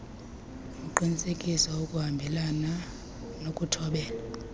uqinisekisa ukuhambelana nokuthobela